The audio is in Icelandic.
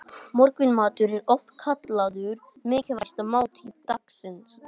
Morgunmatur er oft kallaður mikilvægasta máltíð dagsins.